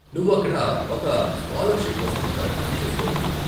నువ్వు అక్కడ ఒక స్కాలర్షిప్ కోసం దరఖాస్తు చేసుకోవచ్చు.